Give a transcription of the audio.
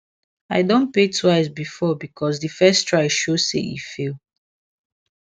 i don pay twice before because the first try show say e fail